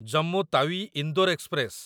Jammu Tawi Indore express